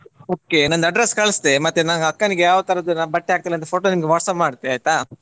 Okay ನಂದು address ಕಳಿಸ್ತೇನೆ ಮತ್ತೆ ನನ್ನ ಅಕ್ಕನಿಗೆ ಯಾವ ತರದ್ದು ಬಟ್ಟೆ ಹಾಕ್ತಾಳೆ ಅಂತ photo ನಿಮ್ಗೆ WhatsApp ಮಾಡ್ತೇ ಆಯ್ತಾ.